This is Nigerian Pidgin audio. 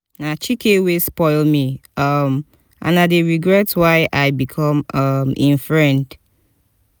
na chike wey spoil me um and i dey regret why i become um im friend